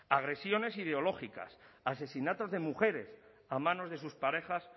agresiones ideológicas asesinatos de mujeres a manos de sus parejas